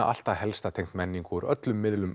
allt það helsta tengt menningu úr öllum miðlum